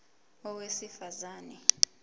a owesifaz ane